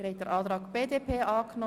Abstimmung (Art. T1-1